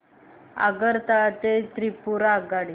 आगरतळा ते त्रिपुरा आगगाडी